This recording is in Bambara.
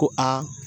Ko aa